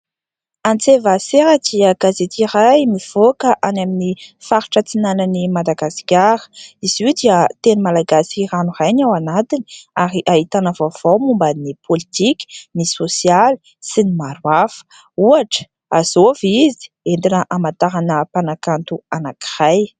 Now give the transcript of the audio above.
" Antsëvasera " dia gazety iray mivoaka any amin'ny faritra atsinanan'ny Madagasikara ; izy io dia teny malagasy ranoray ny ao anatiny ary ahitana vaovao momban'ny politika, ny sosialy sy ny maro hafa ohatra :" azôvy izy ?" entina hamantarana mpanakanto anankiray.